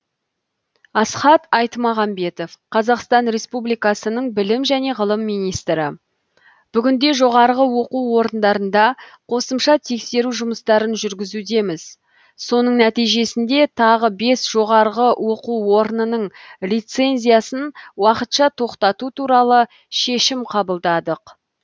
асхат аймағамбетов қазақстан республикасының білім және ғылым министрі бүгінде жоғарғы оқу орындарында қосымша тексеру жұмыстарын жүргізудеміз соның нәтижесінде тағы бес жоғарғы оқу орынының лицензиясын уақытша тоқтату туралы шешім қабылдадық